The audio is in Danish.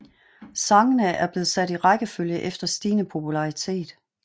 Sangene er blevet sat i rækkefølge efter stigende popularitet